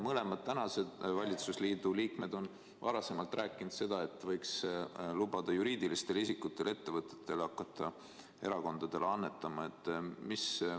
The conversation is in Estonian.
Mõlemad tänase valitsusliidu liikmed on varem rääkinud seda, et võiks lubada juriidilistel isikutel, ettevõtetel hakata erakondadele annetama.